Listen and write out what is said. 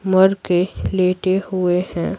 मर के लेटे हुए हैं।